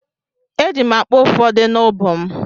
Eji m akpa ụfọdụ n’ubu m.